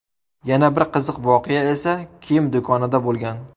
Yana bir qiziq voqea esa kiyim do‘konida bo‘lgan.